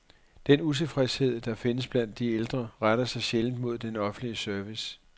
Den utilfredshed, der findes blandt de ældre, retter sig sjældent mod den offentlige service.